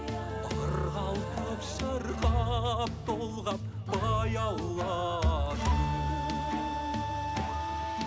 ырғалтып шырқап толғап баяулатып